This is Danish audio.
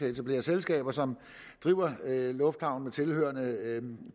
etablere selskaber som driver lufthavne med tilhørende